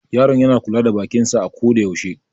Yaron yana kula da bakin sa a ko da yaushe.